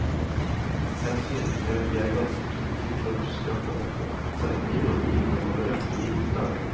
Selv synes vi at vi er ganske flinke til å huske akkurat dette, selv om vi kjører bil med manuelt gir til daglig.